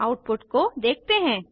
अतः आउटपुट को देखते हैं